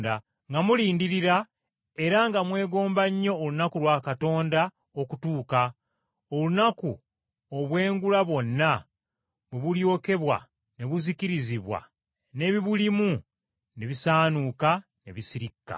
nga mulindirira era nga mwegomba nnyo olunaku lwa Katonda okutuuka, olunaku obwengula bwonna bwe buryokebwa ne buzikirizirwa n’ebiburimu ne bisaanuuka ne bisirikka.